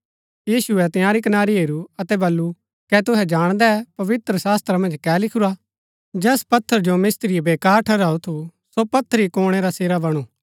यीशुऐ तआंरी कनारी हेरू अतै वलु कै तुहै जाणदै पवित्र शास्‍त्रा मन्ज कै लिखुरा जैस पत्थर जो मिस्त्रिये बेकार ठहराऊ थू सो पत्थर ही कोणै रा सिरा बणु